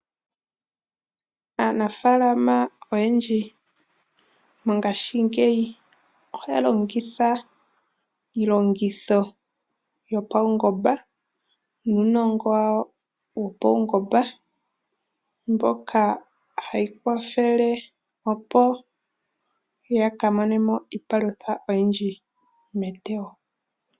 Aanafaalama oyendji mongashingeyi oha ya longitha iilongitho yopawungomba, nuunongo wawo wopaungomba, mboka hayi kwathele opo ya ka mone mo iipalutha oyindji metewo.